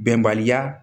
Bɛnbaliya